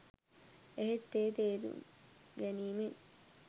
එහෙත් ඒ තෙරුම් ගැනීමෙන්